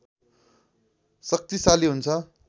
शक्तिशाली हुन्छ